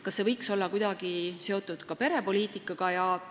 Kas see võiks olla kuidagi seotud perepoliitikaga?